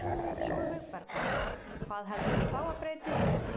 Sólveig Bergmann: Hvað heldurðu þá að breytist?